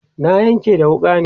na Yanƙe da wuƙa ne